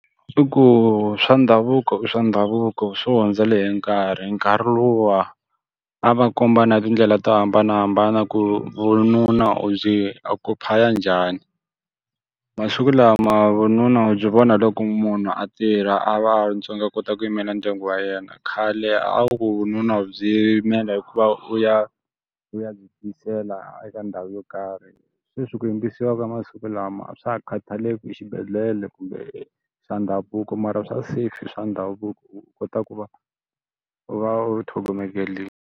I ku swa ndhavuko i swa ndhavuko swi hundzele hi nkarhi. Nkarhi luwa, a va kombana tindlela to hambanahambana ku vununa u byi occupy-a njhani. Masiku lama vununa u byi vona hi loko munhu a tirha a va a kota ku yimela ndyangu wa yena, khale a wu ku vununa u byi yimela hi ku va u ya u ya byi tiyisela eka ndhawu yo karhi. Sweswi ku yimbisiwa ka masiku lama a swa ha khathaleki ku i exibedhlele kumbe i swa ndhavuko mara swa safe i swa ndhavuko u kota ku va u va u tlhongomengelile.